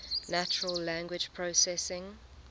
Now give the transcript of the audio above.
natural language processing